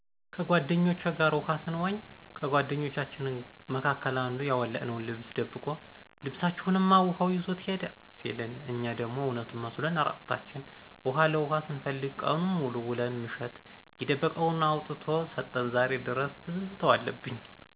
ከጓደኞቸ ጋር ውሀ ሰንዋኝ ከጓደኞቻችን መካከል አንዱ ያወለቅነውን ልብስ ደብቆ ልብሰችሁንማ ውሀው ይዞት ሄደ ሲለን እኛ ደሞ እውነቱን መስሎን እራቁታችን ውሀ ለኋ ስንፈልግ ቀኑን ሙሉ ውለን ምሽት የደበቀውን አውጥቶ ሰጠን ዛሬ ድረስ ትዝታው አለብኝ።